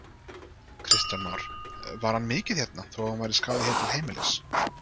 Kristján Már: Var hann mikið hérna, þó hann væri skráður hér til heimilis?